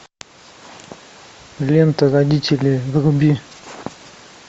лента родители вруби